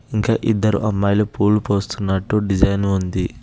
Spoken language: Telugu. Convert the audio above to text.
ఇంకా ఇద్దరు అమ్మాయిలు పూలు పోస్తున్నట్టు డిజైను ఉంది.